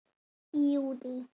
Í júlí